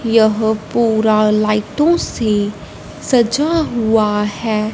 यह पूरा लाइटों से सजा हुआ है।